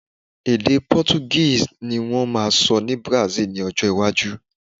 ede Portuguese ni wón ma sọ ni Brasil ni ọjọ iwaju